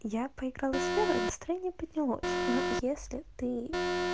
я поиграла с лерой настроение поднялось но если ты